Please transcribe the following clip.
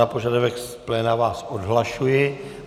Na požadavek z pléna vás odhlašuji.